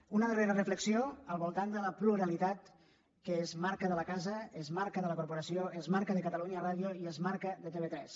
una darrera reflexió al voltant de la pluralitat que és marca de la casa és marca de la corporació és marca de catalunya ràdio i és marca de tv3